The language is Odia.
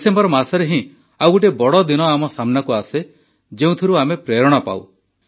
ଡିସେମ୍ବର ମାସରେ ହିଁ ଆଉ ଗୋଟିଏ ବଡ଼ ଦିନ ଆମ ସାମ୍ନାକୁ ଆସେ ଯେଉଁଥିରୁ ଆମେ ପ୍ରେରଣା ପାଉ